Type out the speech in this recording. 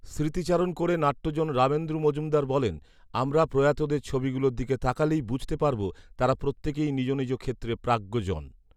স্মৃতিচারণ করে নাট্যজন রামেন্দু মজুমদার বলেন, আমরা প্রয়াতদের ছবিগুলোর দিকে তাকালেই বুঝতে পারব তারা প্রত্যেকেই নিজ নিজ ক্ষেত্রে প্রাজ্ঞজন